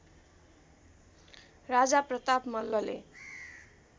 राजा प्रताप मल्लले